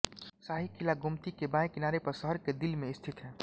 शाही किला गोमती के बाएं किनारे पर शहर के दिल में स्थित है